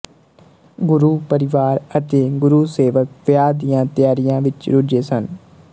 ਗੁਰੂ ਪਰਿਵਾਰ ਅਤੇ ਗੁਰੂ ਸੇਵਕ ਵਿਆਹ ਦੀਆਂ ਤਿਆਰੀਆਂ ਵਿੱਚ ਰੁੱਝੇ ਸਨ